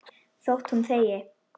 Þótt hún þegi.